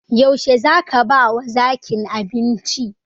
Yaushe zaka ba wa zakin abinci?